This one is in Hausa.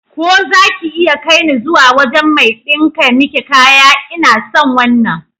Ko zaki iya kaine zuwa wajan mai ɗinka miki kaya? Ina son wannan.